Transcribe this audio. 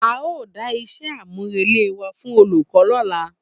A o da iṣẹ àmú rele wa fún olùkọ lọla